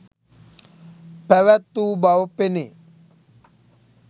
පැවැත් වූ බව පෙනේ